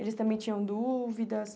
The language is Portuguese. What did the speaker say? Eles também tinham dúvidas?